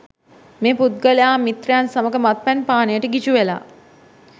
මේ පුද්ගලයා මිත්‍රයන් සමග මත්පැන් පානයට ගිජු වෙලා